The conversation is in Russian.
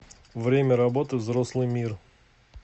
время работы взрослый мир